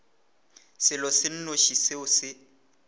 selo se nnoši seo se